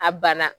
A banna